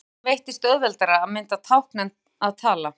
Mörgum börnum veitist auðveldara að mynda tákn en að tala.